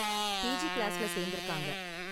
PG கிளாஸ்ல சேர்ந்திருக்காங்க.